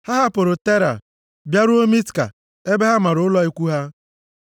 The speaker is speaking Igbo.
Ha hapụrụ Tera bịaruo Mitka ebe ha mara ụlọ ikwu ha.